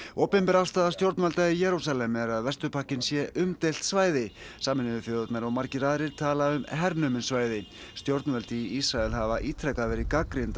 opinber afstaða stjórnvalda í Jerúsalem er að Vesturbakkinn sé umdeilt svæði Sameinuðu þjóðirnar og margir aðrir tala um hernumin svæði stjórnvöld í Ísrael hafa ítrekað verið gagnrýnd